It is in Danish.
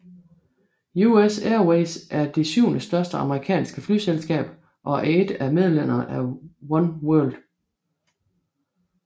US Airways er det syvende største amerikanske flyselskab og er et af medlemmerne af One World